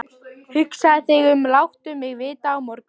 Hugsaðu þig um og láttu mig vita á morgun.